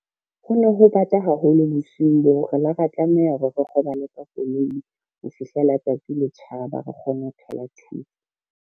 Ho no ho bata haholo bosiung boo re la ra tlameha hore, re kgobala ka koloi ho fihlela tsatsi le tjhaba re kgone ho thola thuso.